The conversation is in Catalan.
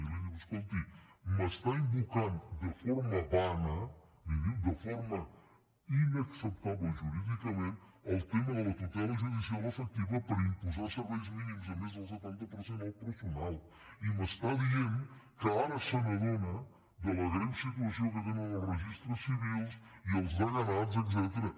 i li diu escolti m’està invocant de forma vana li diu de forma inacceptable jurídicament el tema de la tutela judicial efectiva per imposar serveis mínims a més del setanta per cent del personal i m’està dient que ara se n’adona de la greu situació que tenen els registres civils i els deganats etcètera